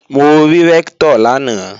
Mo rí Rẹ́ktọ̀ lánàá